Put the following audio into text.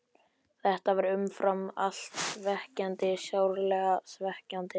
Þetta var umfram allt svekkjandi, sárlega svekkjandi.